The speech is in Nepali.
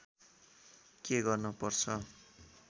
के गर्न पर्छ